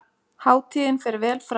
Hátíðin fer vel fram